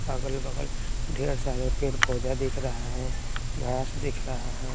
अगल बगल ढेर सारे पेर पौधा दिख रहा है घास दिख रहा है।